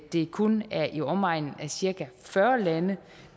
det kun er i omegnen af cirka fyrre lande